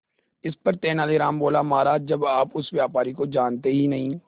इस पर तेनालीराम बोला महाराज जब आप उस व्यापारी को जानते ही नहीं